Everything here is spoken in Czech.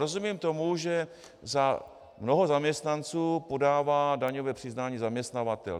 Rozumím tomu, že za mnoho zaměstnanců podává daňové přiznání zaměstnavatel.